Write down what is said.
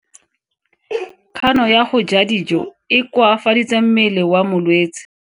Kgano ya go ja dijo e koafaditse mmele wa molwetse.